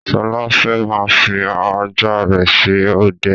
Sọlá fẹ́ máa fi ajá rẹ ṣe ọdẹ